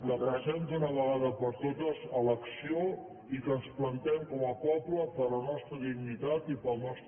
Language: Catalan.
que passem d’una vegada per totes a l’acció i que ens plantem com a poble per la nostra dignitat i pel nostre prestigi